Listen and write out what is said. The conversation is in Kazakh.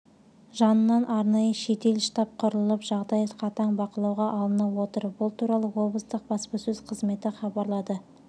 жанынан арнайы жедел штаб құрылып жағдай қатаң бақылауға алынып отыр бұл туралы облыстық баспасөз қызметі хабарлады